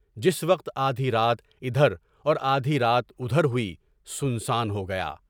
جس وقت آدھی رات ادھر اور آدھی رات ادھر ہوئی، سنسان ہو گیا۔